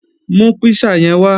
Mú písà yẹn wá!